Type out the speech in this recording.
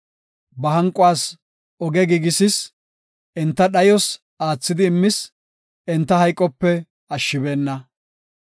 Ba hanquwas oge giigisis; enta dhayos aathidi immis; enta hayqope ashshibeenna.